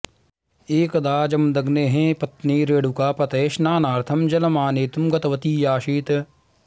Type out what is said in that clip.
एकदा जमदग्नेः पत्नी रेणुका पतये स्नानार्थं जलमानेतुं गतवती आसीत्